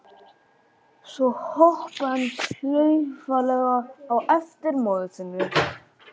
Svo hoppaði hann klaufalega á eftir móður sinni.